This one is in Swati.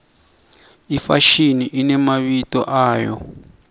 ifashini inemabito ayo